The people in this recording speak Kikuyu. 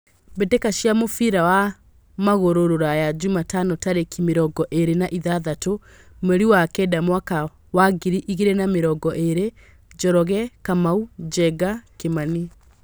Mbĩtĩka cia mũbira wa magũrũ Ruraya Jumatano tarĩki mĩrongo ĩrĩ na ithatũ mweri wa kenda mwakainĩ wa ngiri igĩrĩ na mĩrongo ĩrĩ:Njoroge, Kamau, Njenga, Kimani.